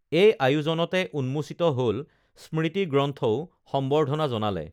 এই আয়োজনতে উন্মোচিত হল স্মৃতিগ্ৰন্থও সম্বৰ্ধনা জনালে